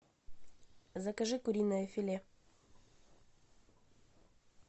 закажи куриное филе